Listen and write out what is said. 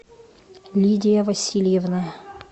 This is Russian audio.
лидия васильевна